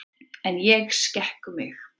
En ég skek mig.